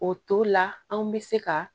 O to la anw bɛ se ka